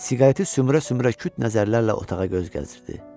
Siqareti sümürə-sümürə küt nəzərlərlə otağa göz gəzdirirdi.